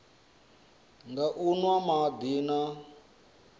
nga u nwa madi na